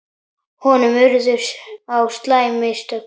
Honum urðu á slæm mistök.